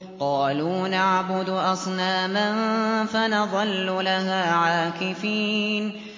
قَالُوا نَعْبُدُ أَصْنَامًا فَنَظَلُّ لَهَا عَاكِفِينَ